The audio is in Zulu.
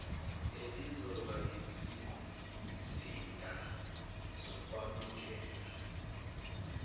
elizoba yisizinda sokwamukela